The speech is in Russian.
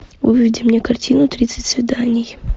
выведи мне картину тридцать свиданий